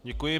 Děkuji.